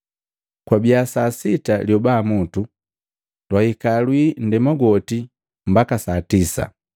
Kwabiya saa sita lyoba mutu, lwahika lwii nndema gwooti mbaka saa tisa.